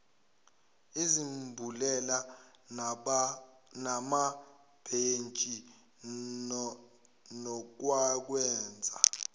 izambulela namabhentshi nokwakwenza